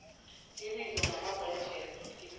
ibizo ngamagabhadlhela ibizo